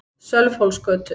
Sölvhólsgötu